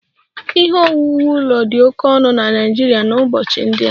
Ihe owuwu ụlọ dị oke ọnụ na Naịjirịa n'ụbọchị ndị a